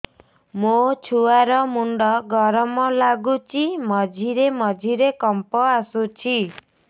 ମୋ ଛୁଆ ର ମୁଣ୍ଡ ଗରମ ଲାଗୁଚି ମଝିରେ ମଝିରେ କମ୍ପ ଆସୁଛି